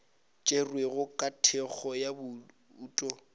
tšerwego ka thekgo ya bouto